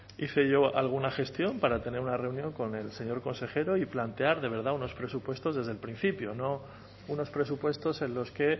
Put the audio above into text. hice yo alguna gestión para tener una reunión con el señor consejero y plantear de verdad unos presupuestos desde el principio no unos presupuestos en los que